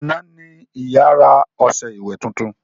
Àná ní ìyá rà ọṣẹ ìwẹ̀ titun